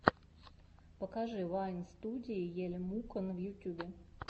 покажи вайн студии ельмукон в ютюбе